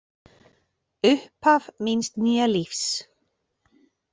Upphaf míns nýja lífs.